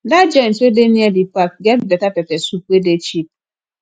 dat joint wey dey near di park get beta pepper soup wey dey cheap